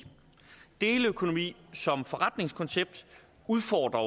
deleøkonomi som forretningskoncept udfordrer